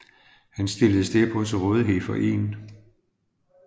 Han stilledes derpå til rådighed for 1